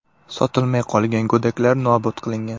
Sotilmay qolgan go‘daklar nobud qilingan.